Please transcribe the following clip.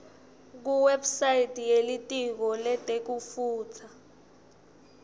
kuwebsite yelitiko letekutfutsa